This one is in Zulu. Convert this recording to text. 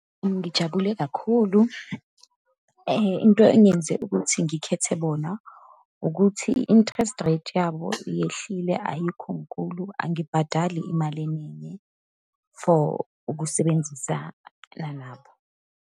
Ngijabule kakhulu, into engenze ukuthi ngikhethe bona, ukuthi i-interest rate yabo iyehlile, ayikho nkulu. Angibhadali imali eningi for ukusebenzisana nabo.